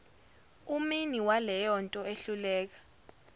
umini waleyonto ehluleka